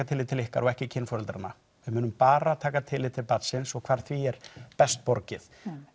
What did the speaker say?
tillit til okkar og ekki kynforeldranna við munum bara taka tillit til barnsins og hvar því er best borgið